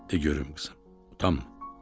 De görüm, qızım, utanma."